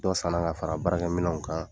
Dɔ sanna ka fara baarakɛminɛnw kan,